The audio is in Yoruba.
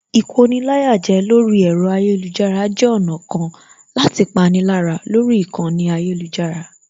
Ìkoni-láyàjẹ lórí ẹ̀rọ ayélujára jẹ́ ọ̀nà kan láti pani lára lórí ìkànnì ayélujára